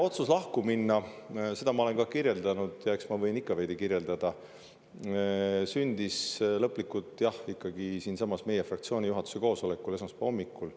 Otsus lahku minna – seda ma olen kirjeldanud ja eks ma võin ikka veel veidi kirjeldada – sündis lõplikult, jah, ikkagi siinsamas, meie fraktsiooni juhatuse koosolekul esmaspäeva hommikul.